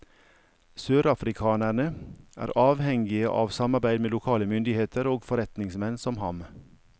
Sørafrikanerne er avhengige av samarbeid med lokale myndigheter og forretningsmenn som ham.